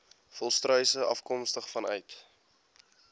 volstruise afkomstig vanuit